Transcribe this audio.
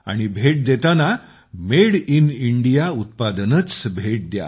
आणि भेट देताना मेड इन इंडिया उत्पादनेच भेट द्या